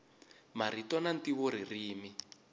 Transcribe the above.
marito na ntivo ririmi